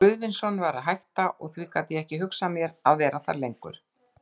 Guðvinsson var að hætta, og þá gat ég ekki hugsað mér að vera þar lengur.